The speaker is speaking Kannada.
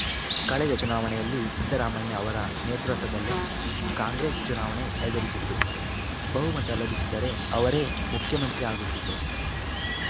ಕಳೆದ ಚುನಾವಣೆಯಲ್ಲಿ ಸಿದ್ದರಾಮಯ್ಯ ಅವರ ನೇತೃತ್ವದಲ್ಲೇ ಕಾಂಗ್ರೆಸ್‌ ಚುನಾವಣೆ ಎದುರಿಸಿತ್ತು ಬಹುಮತ ಲಭಿಸಿದ್ದರೆ ಅವರೇ ಮುಖ್ಯಮಂತ್ರಿ ಆಗುತ್ತಿದ್ದರು